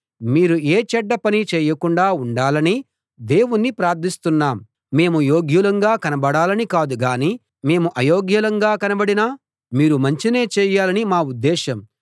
మీరు ఏ చెడ్డ పనీ చేయకుండా ఉండాలని దేవుణ్ణి ప్రార్థిస్తున్నాం మేము యోగ్యులంగా కనబడాలని కాదు గాని మేము అయోగ్యులంగా కనబడినా మీరు మంచినే చేయాలని మా ఉద్దేశం